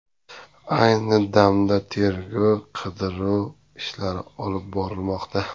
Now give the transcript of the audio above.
Ayni damda tergov-qidiruv ishlari olib borilmoqda.